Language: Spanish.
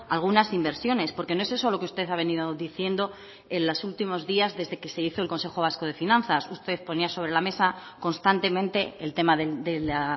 algunas inversiones porque no es eso lo que usted ha venido diciendo en los últimos días desde que se hizo el consejo vasco de finanzas usted ponía sobre la mesa constantemente el tema de la